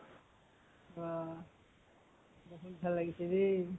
আহ বহুত ভাল লাগিছে দে।